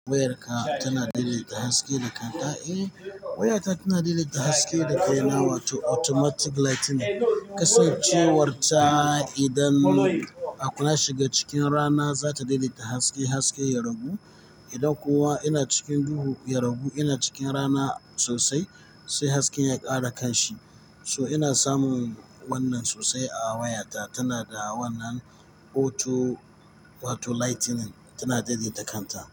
Wayarka tana daidaita haske da kanta. Eh, wayata tana daɗe take haske da kai na, wato automatic lightning. Kasancewarta idan akwai ya shiga cikin rana za ta daidaita haske haske ya ragu. Idan kuwa ina cikin duhu ya ragu, ina cikin rana sosai sai hasken ya ƙara kanshi. So ina samun wannan sosai a wayata. Tana da wannan auto wato lightning tana daidaita kanta.